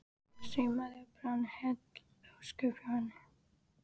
Saumaði og prjónaði heil ósköp hjá henni.